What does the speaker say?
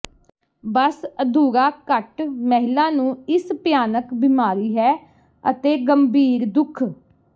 ਬਸ ਅਧੂਰਾ ਘੱਟ ਮਹਿਲਾ ਨੂੰ ਇਸ ਭਿਆਨਕ ਬਿਮਾਰੀ ਹੈ ਅਤੇ ਗੰਭੀਰ ਦੁੱਖ